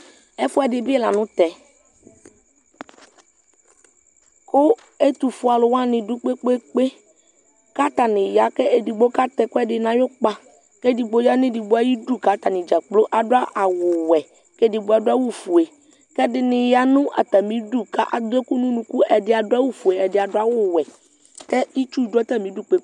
ɛfoɛdi bi lantɛ kò ɛtofue alo wani do kpekpekpe k'atani ya k'edigbo katɛ ɛkoɛdi n'ayi ukpa k'edigbo ya n'edigbo ayidu k'atani dzakplo ado awu wɛ k'edigbo ado awu fue k'ɛdini ya n'atami du k'ado ɛkò n'unuku ɛdi ado awu fue ɛdi ado awu wɛ k'itsu do atami du kpe